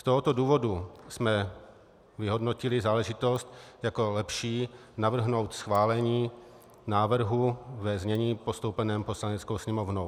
Z tohoto důvodu jsme vyhodnotili záležitost jako lepší navrhnout schválení návrhu ve znění postoupením Poslaneckou sněmovnou.